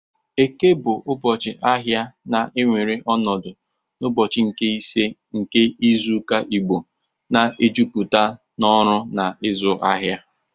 Eke bụ ụbọchị ahịa na-ewere ọnọdụ n'ụbọchị nke ise nke izu ụka Igbo na-ejupụta n'ọrụ na ịzụ ahịa